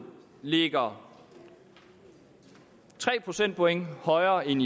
lå tre procentpoint højere end